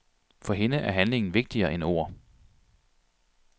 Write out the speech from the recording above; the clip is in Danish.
For hende er handling vigtigere end ord.